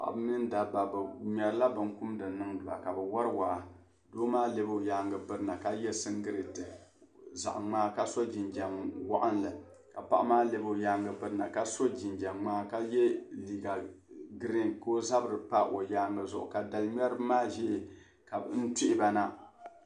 Paɣaba mini daba bɛ mŋerila bɛn kumda niŋba kbɛ wari waa , ka doo maa lebiɔnyaaŋa n birba na ka ye sin giliti zaɣi mŋaa ka so jinjam waɣinli. kpaɣa maa lebigi ɔ nyaaŋa biriba k so jin jam mŋaa ka ye liiga green. ka ɔzabri pa ɔnyaaŋa zuɣu ka dali mŋeribi maa ʒl n tuhi ba na